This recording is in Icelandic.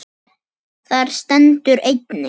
Þar stendur einnig